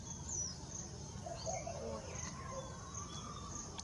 кота